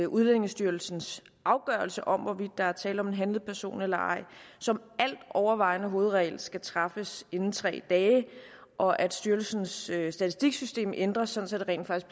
udlændingestyrelsens afgørelse om hvorvidt der er tale om en handlet person eller ej som altovervejende hovedregel skal træffes inden tre dage og at styrelsens statistiksystem ændres sådan at det